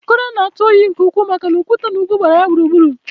Akure na-atụ oyi nke ukwuu maka na okwute na ugwu gbara ya gburugburu